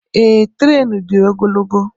Eé tréénù dị ogologo